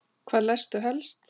Hvað lestu helst?